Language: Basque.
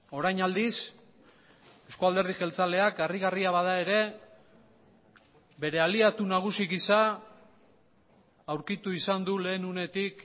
orain aldiz euzko alderdi jeltzaleak harrigarria bada ere bere aliatu nagusi gisa aurkitu izan du lehen unetik